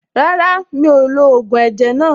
Rárá, mi ò lo ògùn ẹ̀jẹ̀ náà.